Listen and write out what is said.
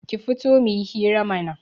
Ki fito muyi hira mana